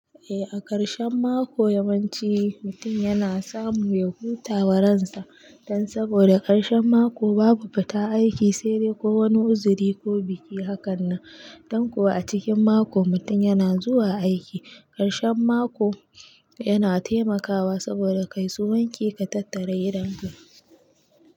Eh, a ƙarshen mako yawanci mutum yana samu ya huta wa ransa. Dan saboda ƙarshen mako babu fita aiki, sai dai ko wani uzuri ko biki. Haka nan, dan kuwa a cikin mako mutum yana zuwa aiki. Ƙarshen mako yana taimakawa saboda kayi su wanki ka tattara gidan ka.